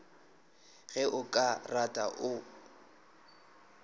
ge o ka rata o